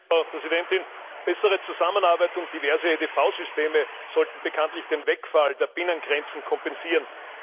Frau Präsidentin! Bessere Zusammenarbeit und diverse EDV Systeme sollten bekanntlich den Wegfall der Binnengrenzen kompensieren.